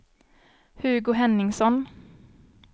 Hugo Henningsson